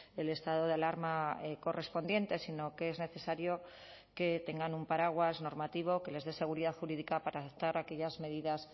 el estado de alarma correspondiente sino que es necesario que tengan un paraguas normativo que les dé seguridad jurídica para adoptar aquellas medidas